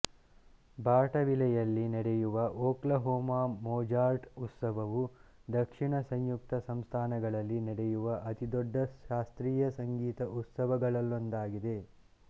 ಬಾರ್ಟವಿಲೆಯಲ್ಲಿ ನೆಡೆಯುವ Oklahoma Mozart ಉತ್ಸವವು ದಕ್ಷಿಣ ಸಂಯುಕ್ತ ಸಂಸ್ಧಾನಗಳಲ್ಲಿ ನೆಡೆಯುವ ಅತಿದೊಡ್ಡ ಶಾಸ್ತ್ರೀಯ ಸಂಗೀತ ಉತ್ಸವಗಳಲ್ಲೊಂದಾಗಿದೆ